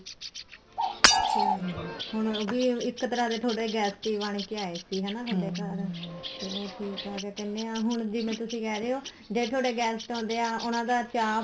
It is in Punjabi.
ਅੱਛਾ ਹੁਣ ਵੀ ਇੱਕ ਤਰ੍ਹਾਂ ਦੇ ਤੁਹਾਡੇ guest ਹੀ ਬਣਕੇ ਆਏ ਸੀ ਹੈਨਾ ਤੁਹਾਡੇ ਚਲੋ ਠੀਕ ਆ ਅਸੀਂ ਕਹਿਣੇ ਆ ਹੁਣ ਜਿਵੇਂ ਤੁਸੀਂ ਕਹਿ ਰਹੇ ਹੋ ਜ਼ੇ ਤੁਹਾਡੇ guest ਆਉਦੇ ਹਾਂ ਉਹਨਾ ਦਾ ਚਾਹ